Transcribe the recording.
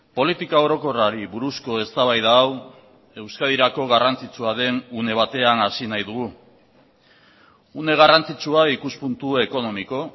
politika orokorrari buruzko eztabaida hau euskadirako garrantzitsua den une batean hasi nahi dugu une garrantzitsua ikuspuntu ekonomiko